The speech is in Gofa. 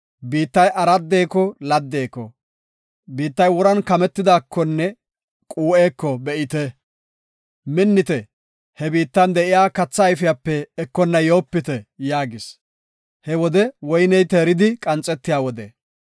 biittay araddeko laddeko, biittay woran kametidaakonne quu7eko be7ite. Minnite; he biittan de7iya katha ayfiyape ekonna yoopite” yaagis. He wodey woyney teeridi maxetiya wode.